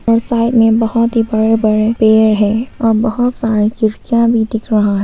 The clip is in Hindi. और साइड में बहोत ही बड़े बड़े पेड़ है और बहोत सारी खिड़कियां भी दिख रहा--